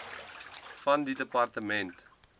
van die departement